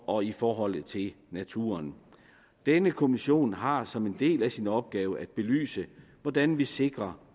og i forhold til naturen denne kommission har som en del af sin opgave at belyse hvordan vi sikrer